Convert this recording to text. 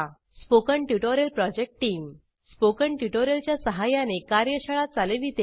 spoken tutorial project team spoken tutorial च्या सहाय्याने कार्यशाळा चालविते